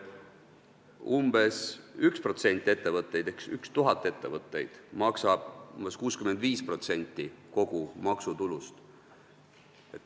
Umbes 1% ettevõtetest ehk 1000 ettevõtet maksab 65% kogu maksutulust.